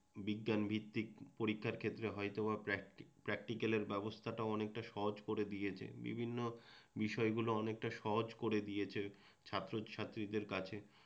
বিজ্ঞান ভিত্তিক পরীক্ষার ক্ষেত্রে হয়তো বা প্র্যাক্টিক্যালের ব্যবস্থাটা অনেকটা সহজ করে দিয়েছে বিভিন্ন বিষয়গুলো অনেকটা সহজ করে দিয়েছে ছাত্রছাত্রীদের কাছে